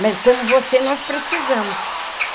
Mas como você, nós precisamos.